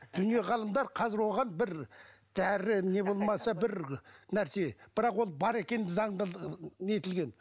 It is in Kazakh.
дүние ғалымдар қазір оған бір дәрі не болмаса бір нәрсе бірақ ол бар екені заңда нетілген